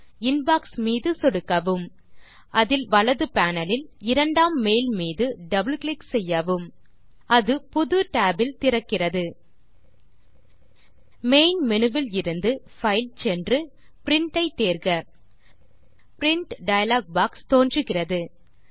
inbox மீது சொடுக்கவும் அதில் வலது பேனல் இல் இரண்டாம் மெயில் மீது டபிள் கிளிக் செய்யவும் அது புது tab இல் திறக்கிறது மெயின் மேனு விலிருந்து பைல் சென்று பிரின்ட் ஐ தேர்க பிரின்ட் டயலாக் பாக்ஸ் தோன்றுகிறது